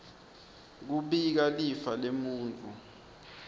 kubika lifa lemuntfu